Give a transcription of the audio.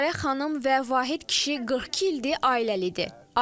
Dilarə xanım və Vahid kişi 42 ildir ailəlidir.